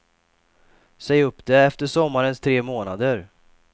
Säg upp det efter sommarens tre månader.